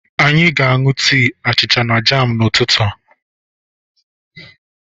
Anyị aga aṅụ tii, achịcha na jam n'ụtụtụ a?